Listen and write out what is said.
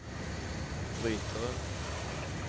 brytere